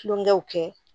Kulonkɛw kɛ